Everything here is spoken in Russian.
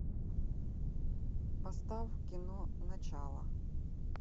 поставь кино начало